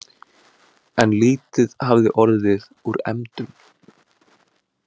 En lítið hafði orðið úr efndum.